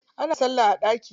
Ana salla a ɗaki.